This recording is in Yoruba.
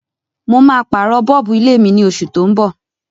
Mo ma pàrọ̀ bulb ilé mí ni osù to n bọ̀